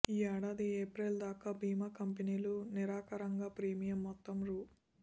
ఈ ఏడాది ఏప్రిల్ దాకా బీమా కంపెనీలు నికరంగా ప్రీమియం మొత్తం రూ